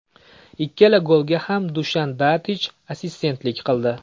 Ikkala golga ham Dushan Tadich assistentlik qildi.